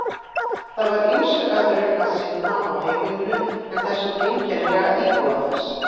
Það var ýmsu öðru að sinna á heimilinu en þessum einkennilega íbúa þess.